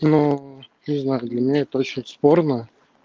ну не знаю для меня это очень спорно